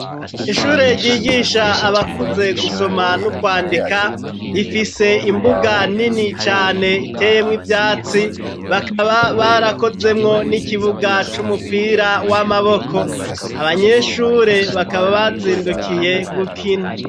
Ishure ryigisha abakuze gusoma n'ukwandika rifise imbuga nini cane iteyemwo ivyatsi bakaba barakozemwo n'ikibuga c'umupira w'amaboko abanyeshure bakaba bazindukiye gukina.